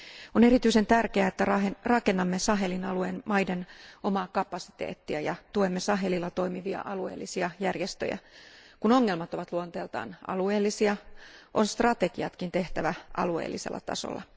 On erityisen tärkeää, että rakennamme Sahelin alueen maiden omaa kapasiteettia ja tuemme Sahelilla toimivia alueellisia järjestöjä. Kun ongelmat ovat luonteeltaan alueellisia, on strategiatkin tehtävä alueellisella tasolla.